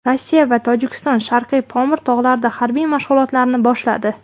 Rossiya va Tojikiston Sharqiy Pomir tog‘larida harbiy mashg‘ulotlarni boshladi.